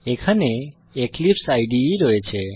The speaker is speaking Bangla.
এখানে এক্লিপসে ইদে রয়েছে